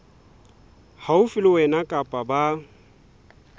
haufi le wena kapa ba